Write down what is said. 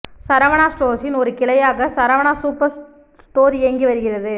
சரவணா ஸ்டோர்ஸின் ஒரு கிளையாக சரவணா சூப்பர் ஸ்டோர் இயங்கி வருகிறது